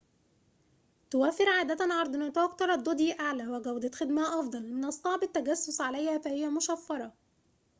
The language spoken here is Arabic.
توفر عادة عرض نطاق ترددي أعلى وجودة خدمة أفضل من الصعب التجسس عليها فهي مشفرة